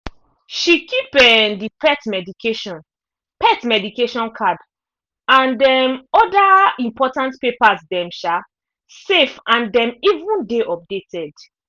she keep um the pet medication pet medication card and um other important papers them um safe and them even dey updated